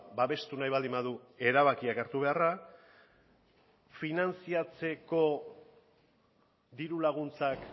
babestu nahi baldin badu erabakiak hartu beharra finantzatzeko diru laguntzak